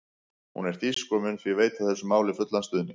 Hún er þýsk og mun því veita þessu máli fullan stuðning.